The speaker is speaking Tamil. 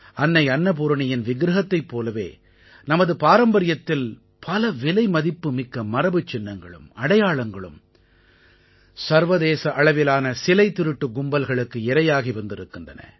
அன்னை அன்னபூரணியின் விக்ரஹத்தைப் போலவே நமது பாரம்பரியத்தில் பல விலை மதிப்புமிக்க மரபுச் சின்னங்களும் அடையாளங்களும் சர்வதேச அளவிலான சிலை திருட்டு கும்பல்களுக்கு இரையாகி வந்திருக்கின்றன